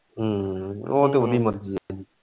ਹਮ ਉਹ ਤੇ ਉਹਦੀ ਮਰਜ਼ੀ ਹੈ।